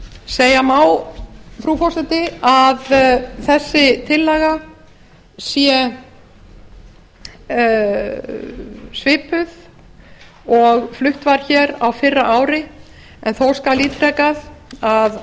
segja má frú forseti að þessi tillaga sé svipuð og flutt var hér á fyrra ári en þó skal ítrekað að